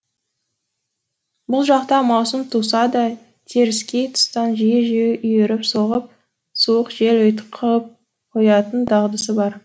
бұл жақта маусым туса да теріскей тұстан жиі жиі үйіріп соғып суық жел ұйтқып қоятын дағдысы бар